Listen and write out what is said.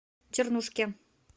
чернушке